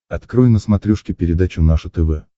открой на смотрешке передачу наше тв